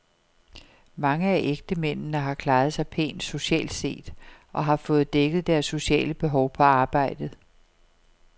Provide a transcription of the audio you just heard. Mange af ægtemændene har klaret sig pænt, socialt set, og har fået dækket deres sociale behov på arbejdet.